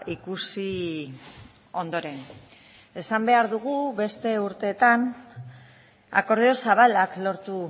ikusi ondoren esan behar dugu beste urteetan akordio zabalak lortu